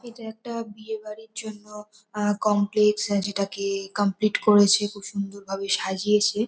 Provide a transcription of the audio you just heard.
এটা একটা বিয়ে বাড়ির জন্য আ কমপ্লেক্স যেটাকে-এ কমপ্লিট করেছে। খুব সুন্দর ভাবে সাজিয়েছে।